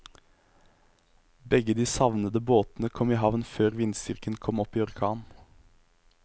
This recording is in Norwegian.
Begge de savnede båtene kom i havn før vindstyrken kom opp i orkan.